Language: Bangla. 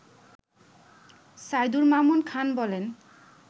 সাইদুর মামুন খান বলেন